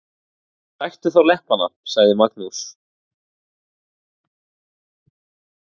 Sæktu þá leppana, sagði Magnús.